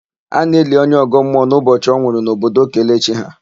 A na-eli onye ọgọmmuọ n'ụbọchị ọ nwụrụ n'obodo Kelechi ha.